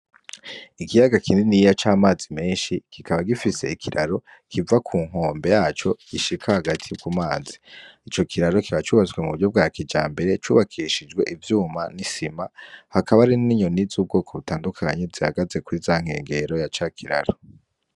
Ikiyaga kindini y'iya c'amazi menshi kikaba gifise ikiraro kiva ku nkombe yaco gishika hagati yo ku mazi i co kiraro kiba cubaswe mu buryo bwa kija mbere cubakishijwe ivyuma n'isima hakaba ari n'inyoni z'ubwoko butandukanyi zihagaze kuri iza nkengero ya ca kiraro.